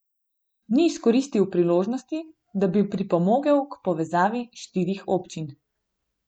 Ni izkoristil priložnosti, da bi pripomogel k povezavi štirih občin.